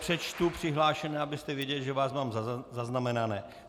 Přečtu přihlášené, abyste věděli, že vás mám zaznamenané.